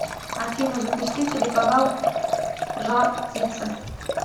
афина запусти телеканал жар птица